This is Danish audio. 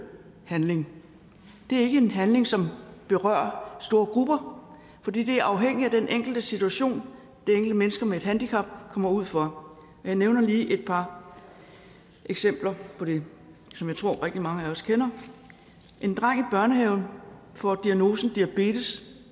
handling det er ikke en handling som berører store grupper for det er afhængigt af den enkelte situation det enkelte menneske med et handicap kommer ud for jeg nævner lige et par eksempler på det som jeg tror rigtig mange af os kender en dreng i børnehaven får diagnosen diabetes